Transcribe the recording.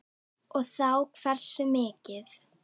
Og þá hversu mikið.